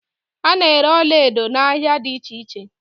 A na-ere ọlaedo n'ahia dị iche iche.